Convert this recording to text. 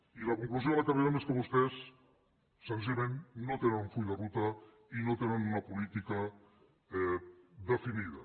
i la conclusió a què arribem és que vostès senzillament no tenen un full de ruta i no tenen una política definida